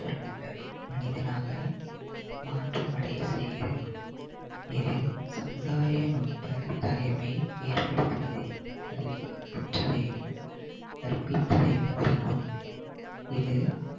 மனிதனாக மாற்றம் அடைய செய்கிறது இது சமுதாய நுட்ப தகைமை ஏற்படுத்துவதே கல்வி கற்றலையும் கற்பித்தலையும் குறிக்கும் இது